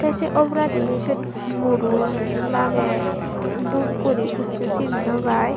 se oboladi siyot muro lage dup guri huschu sin nw pai.